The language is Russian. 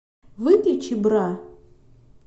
выключи бра